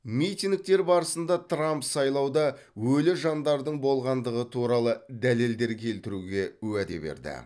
митингтер барысында трамп сайлауда өлі жандардың болғандығы туралы дәлелдер келтіруге уәде берді